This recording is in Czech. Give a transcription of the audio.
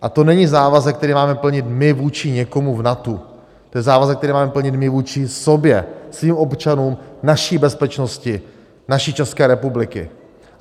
A to není závazek, který máme plnit my vůči někomu v NATO, to je závazek, který máme plnit my vůči sobě, svým občanům, naší bezpečnosti naší České republiky.